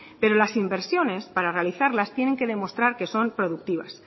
pero las inversiones para realizarlas tienen que demostrar que son productivas